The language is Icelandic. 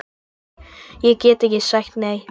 Ég gat ekki sagt nei.